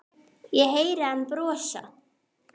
Ég heyri hann brosa.